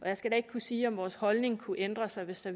jeg skal da ikke kunne sige om vores holdning kunne ændre sig hvis der